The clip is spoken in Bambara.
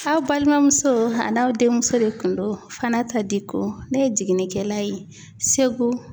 Aw balimamuso a n'aw denmuso de kun do Fanata Diko ne ye jiginnikɛla ye Segu.